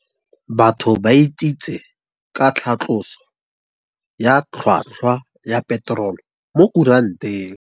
Batho ba Itsitse ka tlhatlosô ya tlhwatkhwa ya peterole mo kuranteng.